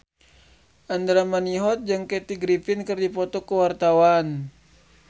Andra Manihot jeung Kathy Griffin keur dipoto ku wartawan